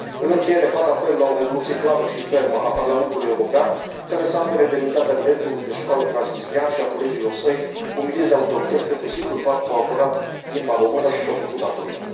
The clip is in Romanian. În încheiere, fac apel la o rezoluție clară și fermă a Parlamentului European care să apere demnitatea directorului de școală transnistrean și a colegilor săi, umiliți de autorități pentru simplul fapt că au apărat limba română și și au făcut datoria.